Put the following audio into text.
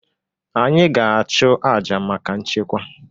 Anyị ga-achụ aja maka nchekwa.